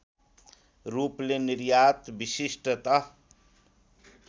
रूपले निर्यात विशिष्टत